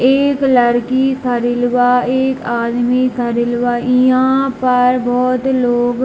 एक लड़की खडील बा एक आदमी खडील बा इहा पर बहुत लोग --